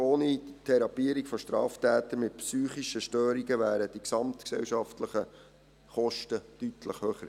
Ohne die Therapien für Straftäter mit psychischen Störungen wären die gesamtgesellschaftlichen Kosten deutlich höher.